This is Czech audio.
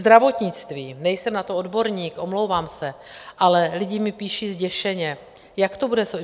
Zdravotnictví: nejsem na to odborník, omlouvám se, ale lidi mi píší zděšeně, jak to bude.